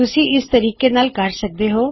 ਤੁਸੀਂ ਇਸਨੂੰ ਇਸ ਤਰੀਕੇ ਨਾਲ ਕਰ ਸਕਦੇ ਹੋਂ